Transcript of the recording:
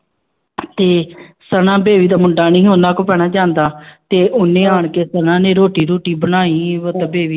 ਤੇ ਸਨਾ ਬੇਬੀ ਦਾ ਮੁੰਡਾ ਨੀ ਉਹਨਾਂ ਕੋਲ ਭੈਣਾ ਜਾਂਦਾ ਤੇ ਉਹਨੇ ਆਣ ਕੇ ਸਨਾ ਨੇ ਰੋਟੀ ਰੂਟੀ ਬਣਾਈ ਉਹ ਤੇ ਬੇਬੀ